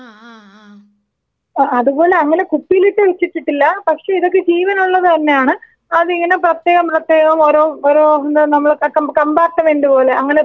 ആ ആ അതുപോലെ അങ്ങനെ കുപ്പിയിലിട്ടു വെച്ചിട്ടിട്ടില്ല പക്ഷേ ഇതൊക്കെ ജീവനുള്ളത് തന്നെയാണ് അതിങ്ങനെ പ്രത്യേകം പ്രത്യേകം ഓരോ ഓരോ എന്താ നമ്മടെ കമ്പാർട്ട്മെന്റ് പോലെ അങ്ങനെ തരം തിരിച്ച് വെച്ചിട്ടുണ്ട്.